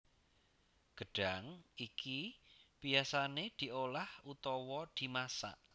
Gedhang iki biyasane diolah utawa dimasak